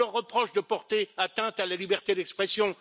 On leur reproche de porter atteinte à la liberté d'expression.